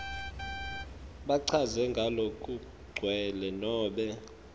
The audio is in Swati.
bachaze ngalokugcwele nobe